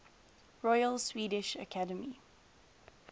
royal swedish academy